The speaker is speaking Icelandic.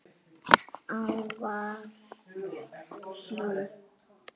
Ávallt hlý.